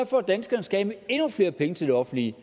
for at danskerne skal af med endnu flere penge til det offentlige